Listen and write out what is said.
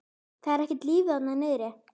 Það er ekkert líf þarna niðri.